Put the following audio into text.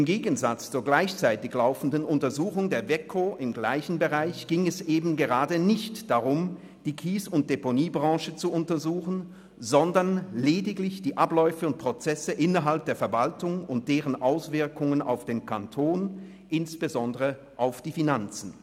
Im Gegensatz zur gleichzeitig laufenden Untersuchung der Wettbewerbskommission (WEKO) im selben Bereich ging es eben gerade nicht darum, die Kies- und Deponiebranche zu untersuchen, sondern lediglich die Abläufe und Prozesse innerhalb der Verwaltung und deren Auswirkungen auf den Kanton, insbesondere auf die Finanzen.